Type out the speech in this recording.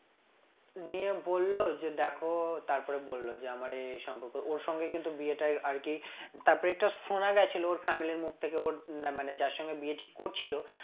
নিয়ে বলল যে দেখো তারপরে বলল যে আমার এই এই সম্পর্ক ওর সঙ্গেই কিন্তু বিয়েটা আর কি তারপর এটা শোনা গেছিল ওর family এর মুখ থেকে ওর না মানে যার সঙ্গে বিয়ে ঠিক করছিল